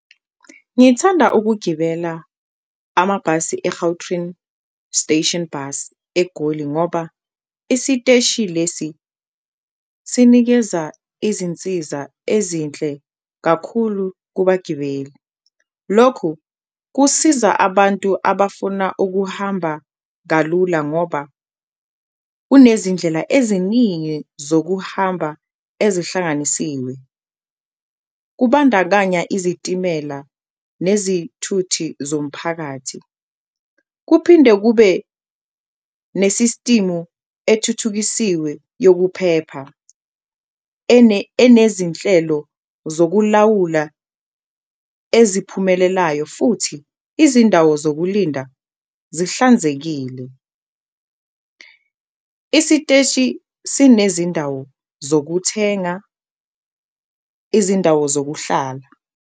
Ngithanda ukugibela amabhasi e-Gautrain Station Bus eGoli ngoba isiteshi lesi sinikeza izinsiza ezinhle kakhulu kubagibeli. Lokhu kusiza abantu abafuna ukuhamba kalula ngoba kunezindlela eziningi zokuhamba ezihlanganisiwe kubandakanya izitimela nezithuthi zomphakathi, kuphinde kube nesisitimu ethuthukisiwe yokuphepha enezinhlelo zokulawula eziphumelelayo futhi izindawo zokulinda zihlanzekile. Isiteshi sinezindawo zokuthenga, izindawo zokuhlala.